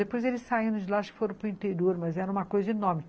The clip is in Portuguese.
Depois eles saíram de lá e foram para o interior, mas era uma coisa enorme.